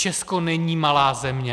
Česko není malá země.